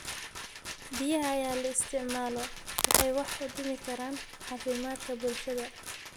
Biyaha la isticmaalo waxay wax u dhimi karaan caafimaadka bulshada.